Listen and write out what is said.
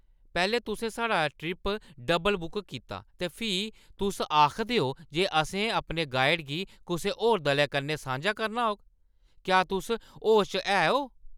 पैह्‌लें, तुसें साढ़ा ट्रिप डब्ल-बुक कीता ते फ्ही तुस आखदे ओ जे असें अपने गाइड गी कुसै होर दल दे कन्नै सांझा करना होग। क्या तुस होश च है ओ?